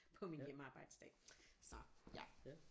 På min hjemmearbejdsdag så ja